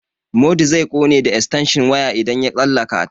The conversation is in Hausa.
Modu zai ƙone da estenshin waya idan ya tsallaka ta.